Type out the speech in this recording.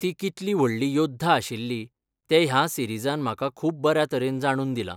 ती कितली व्हडली योद्धा आशिल्ली, तें ह्या सिरिजान म्हाका खूब बऱ्या तरेन जाणून दिला.